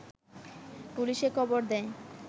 পুলিশে খবর দেয়